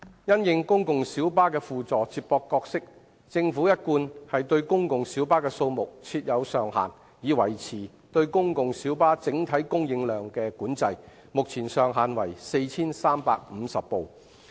因應公共小巴的輔助接駁角色，政府一貫對公共小巴的數目設有上限，以維持對公共小巴整體供應量的管制，目前上限為 4,350 輛。